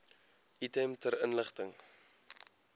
item ter inligting